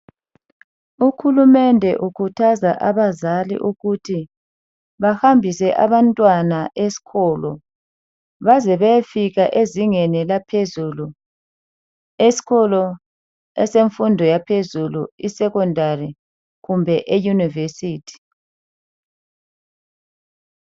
Uhulumende ukhuthaza abazali ukuthi bahambise abantwana eskolo baze beyefika ezingeni laphezulu. Eskolo esemfundo yaphezulu esekhondari kumbe eyunivesithi.